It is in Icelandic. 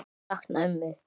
Ég sakna ömmu.